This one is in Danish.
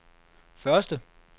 første